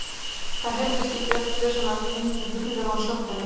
Það heyrðist í bjöllunni sem var tengd við hurðina á sjoppunni.